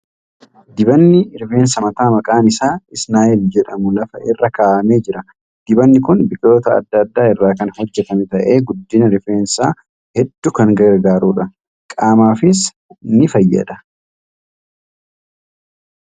Dibanni rifeensa mataa maqaan isaa ' Isnaayil ' jedhamu lafa irra kaa'amee jira . Dibanni kun biqiloota adda addaa irraa kan hojjatame ta'ee guddina rifeensaa hedduu kan gargaaruudha. Qaamafis ni fayyada.